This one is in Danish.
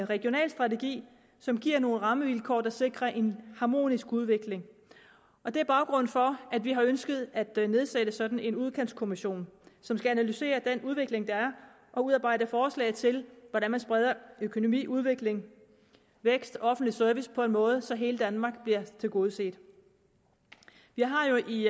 regional strategi som giver nogle rammevilkår der sikrer en harmonisk udvikling og det er baggrunden for at vi har ønsket at nedsætte sådan en udkantskommission som skal analysere den udvikling der er og udarbejde forslag til hvordan man spreder økonomi udvikling vækst og offentlig service på en måde så hele danmark bliver tilgodeset vi har jo i